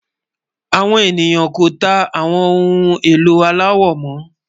Àwọn ènìyàn kò tà àwọn ohun ẹ̀lò aláwọ̀ mo